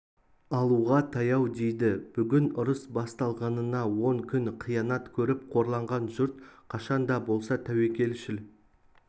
алуға таяу дейді бүгін ұрыс басталғанына он күн қиянат көріп қорланған жұрт қашан да болса тәуекелшіл